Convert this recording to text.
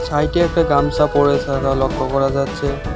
সাইটে একটা গামছা পড়ে থাকা লক্ষ্য করা যাচ্ছে।